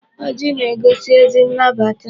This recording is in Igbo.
Ọjị na-egosi ezi nnabata.